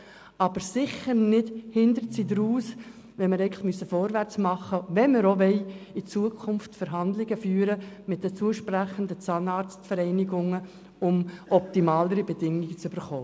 Aber sicher sollten wir nicht rückwärts raus, wenn wir eigentlich vorwärts machen müssen, wenn wir auch in Zukunft Verhandlungen mit den zusprechenden Zahnarztvereinigungen führen wollen, um optimalere Bedingungen zu erhalten.